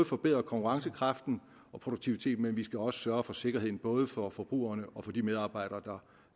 forbedre konkurrencekraften og produktiviteten men vi skal også sørge for sikkerheden både for forbrugerne og for de medarbejdere der